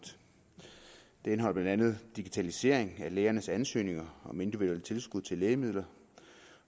det indeholder blandt andet digitalisering af lægernes ansøgninger om individuelle tilskud til lægemidler